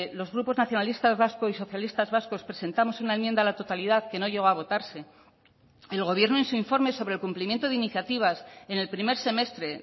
los grupos nacionalistas vascos y socialistas vascos presentamos una enmienda a la totalidad que no llegó a votarse el gobierno en su informe sobre el cumplimiento de iniciativas en el primer semestre